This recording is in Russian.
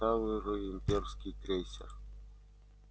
старый имперский крейсер